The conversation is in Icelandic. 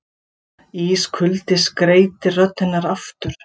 Ískuldi skreytir rödd hennar aftur.